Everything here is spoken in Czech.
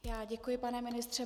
Já děkuji, pane ministře.